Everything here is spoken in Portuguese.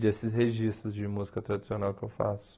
Desses registros de música tradicional que eu faço.